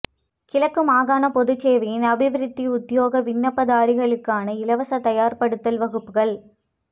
கிழக்கு மாகாண பொதுச் சேவையின் அபிவிருத்தி உத்தியோக விண்ணப்பதாரிகளுக்கான இலவச தயார் படுத்தல் வகுப்புக்கள்